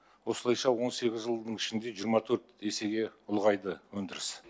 осылайша он сегіз жылдың ішінде жиырма төрт есеге ұлғайды өндіріс